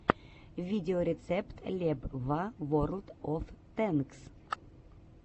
видеорецепт лебва ворлд оф тэнкс